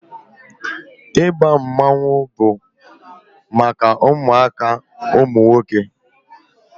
Ịba mmanwụ bụ maka ụmụaka ụmụ nwoke